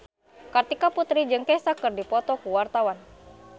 Kartika Putri jeung Kesha keur dipoto ku wartawan